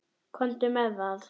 Komdu með það.